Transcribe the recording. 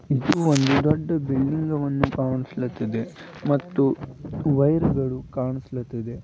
ಇದು ಒಂದು ದೊಡ್ಡ ಬಿಲ್ಡಿಂಗ್ ವನ್ನು ಕಾಣಿಸ್ಲಾತಿದೆ ಮತ್ತು ವೈರ್ ಗಳು ಕಾಣುಸ್ಲಾತಿದೆ.